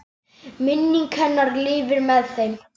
Minning hennar lifir með þeim.